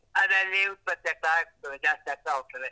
ಅದು ಅಲ್ಲೇ ಉತ್ಪತ್ತಿ ಆಗ್ತಾ ಇರ್ತದೆ, ಜಾಸ್ತಿ ಆಗ್ತಾ ಹೋಗ್ತದೆ.